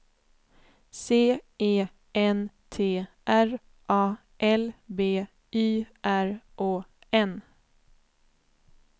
C E N T R A L B Y R Å N